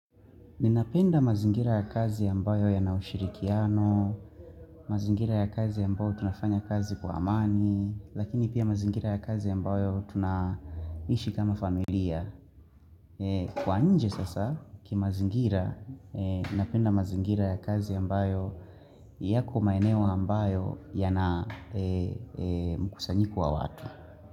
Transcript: Ninapenda mazingira ya kazi ambayo yana ushirikiano, mazingira ya kazi ambayo tunafanya kazi kwa amani, lakini pia mazingira ya kazi ambayo tunaishi kama familia. Kwa nje sasa, ki mazingira, ninapenda mazingira ya kazi ambayo yako maeneo ambayo yana mkusanyiku wa watu.